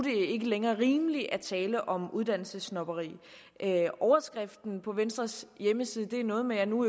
ikke længere er rimeligt at tale om uddannelsessnobberi overskriften på venstres hjemmeside er noget med at nu